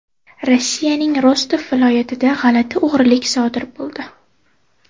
Rossiyaning Rostov viloyatida g‘alati o‘g‘rilik sodir bo‘ldi.